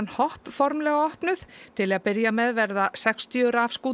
hopp formlega opnuð til að byrja með verða sextíu